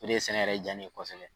O de ye sɛnɛ yɛrɛ ja in ye kosɛbɛ